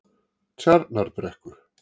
Tjarnarbrekku